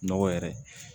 Nɔgɔ yɛrɛ